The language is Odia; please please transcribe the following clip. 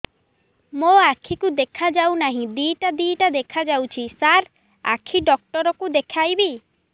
ମୋ ଆଖିକୁ ଦେଖା ଯାଉ ନାହିଁ ଦିଇଟା ଦିଇଟା ଦେଖା ଯାଉଛି ସାର୍ ଆଖି ଡକ୍ଟର କୁ ଦେଖାଇବି